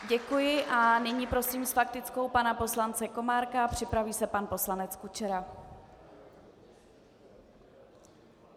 Děkuji a nyní prosím s faktickou pana poslance Komárka, připraví se pan poslanec Kučera.